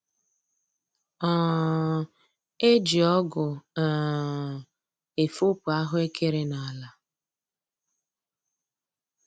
um E ji ọgụ um efopụ ahụekere n'ala